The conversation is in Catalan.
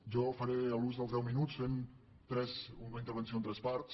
jo faré ús dels deu minuts fent una intervenció en tres parts